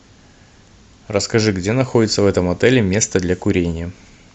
расскажи где находится в этом отеле место для курения